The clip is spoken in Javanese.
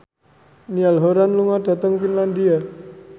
Niall Horran lunga dhateng Finlandia